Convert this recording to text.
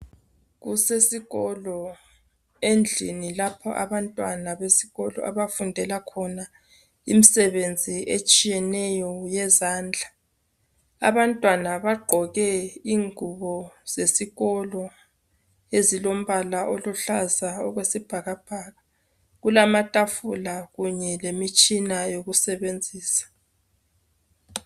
kusesikolo endlini lapho abantwana abafundela khona imisebenzi etshiyeneyo yezandla abantwana bagqoke ingubo zesikolo ezilombala oluhlaza okwesibhakabhaka kulamatafula kunye lemitshina yokusebenzisa